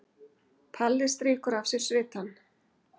Palli strýkur af sér svitann.